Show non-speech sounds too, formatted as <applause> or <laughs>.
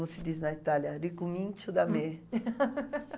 Como se diz na Itália, ricomincio da me. <laughs>